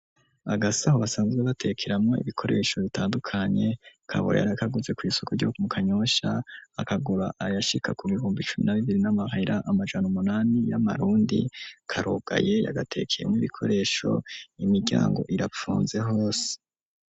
Agasaho basanzwe batekeramwo ibikoresho, bitandukanye kabura yari akaguze kw'isoko ryo mu kanyosha ,akagura ayashika ku bibumbi cumi na bibiri n'amahera amajana umunani ,y'amarundi ,karugaye yagatekeyemwo 'ibikoresho ,imiryango irapfunze hose.